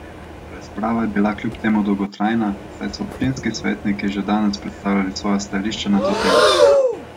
Razprava je bila kljub temu dolgotrajna, saj so občinski svetniki že danes predstavljali svoja stališča na to temo.